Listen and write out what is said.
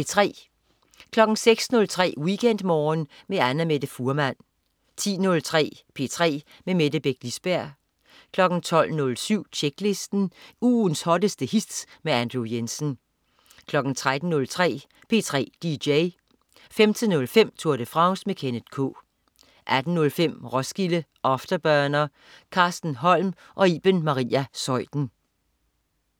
06.03 WeekendMorgen med Annamette Fuhrmann 10.03 P3 med Mette Beck Lisberg 12.07 Tjeklisten. Ugens hotteste hits med Andrew Jensen 13.03 P3 dj 15.05 Tour de France. Kenneth K 18.05 Roskilde Afterburner. Carsten Holm og Iben Maria Zeuthen